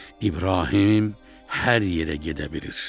İbrahim hər yerə gedə bilir.